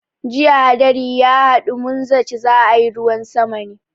Jiya hadari ya haɗu, mun zaci za a yi ruwan sama ne.